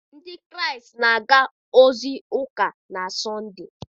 Ndị Kraịst na-aga ozi ụka na Sọnde.